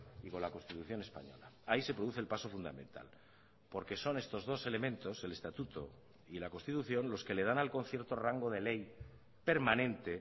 y con la constitución española ahí se produce el paso fundamental porque son estos dos elementos el estatuto y la constitución los que le dan al concierto rango de ley permanente